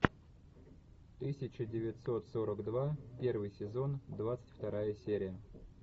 тысяча девятьсот сорок два первый сезон двадцать вторая серия